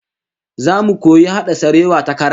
Zamu koyi hada sarewa ta kara